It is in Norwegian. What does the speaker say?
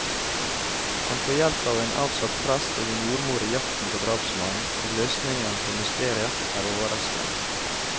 Han får hjelp av en avsatt prest og en jordmor i jakten på drapsmannen, og løsningen på mysteriet er overraskende.